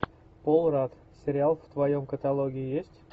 пол радд сериал в твоем каталоге есть